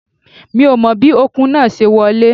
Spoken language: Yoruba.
Mi ò mọ bí Ọ̀kùn náà ṣe wọlé